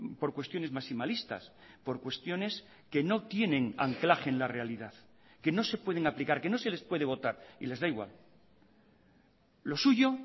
por cuestiones maximalistas por cuestiones que no tienen anclaje en la realidad que no se pueden aplicar que no se les puede votar y les da igual lo suyo